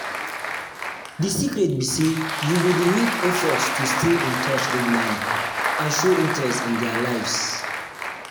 di secret be say you go dey make effort to stay in touch regularly and show interest in dia lives. in dia lives.